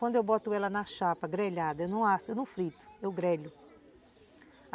Quando eu boto ela na chapa grelhada, eu não asso, eu não frito, eu grelho.